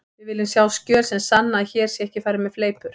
Við viljum sjá skjöl sem sanna að hér sé ekki farið með fleipur.